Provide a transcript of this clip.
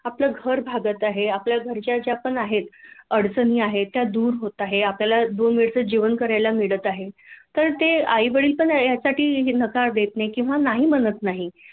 आपलं घर भागत आहे आपल्या गरजा ज्या पण आहेत अडचणी आहेत त्या दूर होत आहे आपल्याला दोन वेळेच जेवण करायला मिळत आहे तर ते आई वडील पण या साठी नकार देत नाही किंवा नाही म्हणत नाही